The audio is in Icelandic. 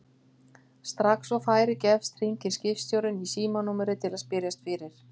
Strax og færi gefst hringir skipstjórinn í símanúmerið til að spyrjast fyrir.